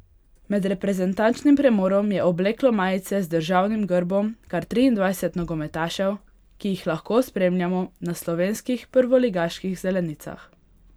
Med reprezentančnim premorom je obleklo majice z državnim grbom kar triindvajset nogometašev, ki jih lahko spremljamo na slovenskih prvoligaških zelenicah.